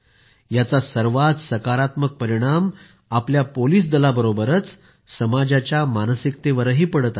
याचा सर्वात सकारात्मक परिणाम आपल्या पोलिस दलाबरोबरच समाजाच्या मानसिकतेवरही पडत आहे